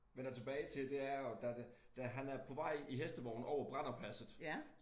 Vender tilbage til det er jo der det da han er på vej i hestevogn over Brennerpasset